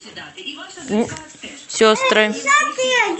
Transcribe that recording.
сестры